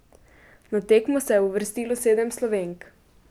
Na tekmo se je uvrstilo sedem Slovenk.